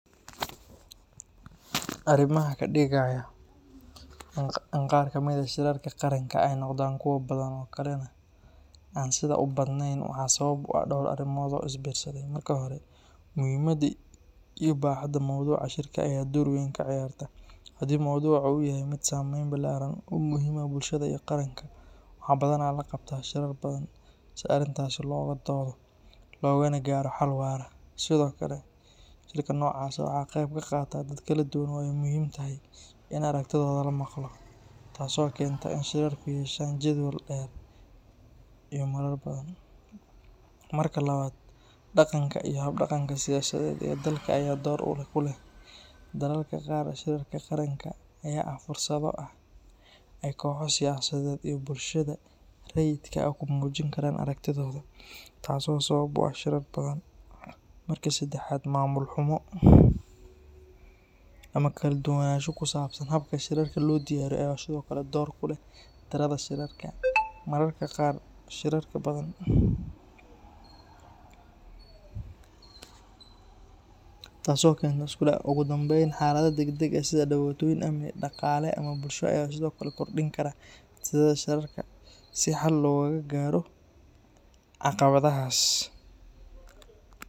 Arrimaha ka dhigaya in qaar ka mid ah shirarka qaranka ay noqdaan kuwo badan kuwa kalena aan sidaa u badnayn waxaa sabab u ah dhowr arrimood oo is biirsaday. Marka hore, muhiimadda iyo baaxadda mawduuca shirka ayaa door weyn ka ciyaarta; haddii mowduuca uu yahay mid saameyn ballaaran leh oo muhiim u ah bulshada iyo qaranka, waxaa badanaa la qabtaa shirar badan si arrintaas looga doodo loogana gaadho xal waara. Sidoo kale, shirka noocaas ah waxaa ka qayb qaata dad kala duwan oo ay muhiim tahay in aragtidooda la maqlo, taas oo keenta in shirarku yeeshaan jadwal dheer iyo marar badan. Marka labaad, dhaqanka iyo hab dhaqanka siyaasadeed ee dalka ayaa door ku leh; dalalka qaar shirarka qaranka ayaa ah fursado ay kooxo siyaasadeed iyo bulshada rayidka ah ku muujin karaan aragtidooda, taasoo sabab u ah shirar badan. Marka saddexaad, maamul xumo ama kala duwanaansho ku saabsan habka shirarka loo diyaariyo ayaa sidoo kale door ku leh tirada shirarka; mararka qaar shirar badan ayaa la qabtaa iyadoo aan si fiican loo qorshaynin, taasoo keenta isku dhac iyo wareer. Ugu dambeyn, xaaladaha degdegga ah sida dhibaatooyin amni, dhaqaale ama bulsho ayaa sidoo kale kordhin kara tirada shirarka si xal looga gaaro caqabadahaas.